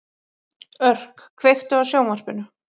Örk, kveiktu á sjónvarpinu.